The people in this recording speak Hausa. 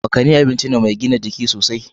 Makani abinci ne mai gina jiki sosai.